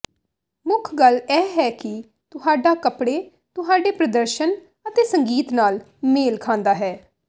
ਮੁੱਖ ਗੱਲ ਇਹ ਹੈ ਕਿ ਤੁਹਾਡਾ ਕੱਪੜੇ ਤੁਹਾਡੇ ਪ੍ਰਦਰਸ਼ਨ ਅਤੇ ਸੰਗੀਤ ਨਾਲ ਮੇਲ ਖਾਂਦਾ ਹੈ